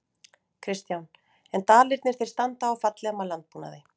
Kristján: En Dalirnir þeir standa og falla með landbúnaði?